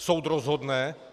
Soud rozhodne.